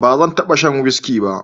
ba zan taba sha whiski ba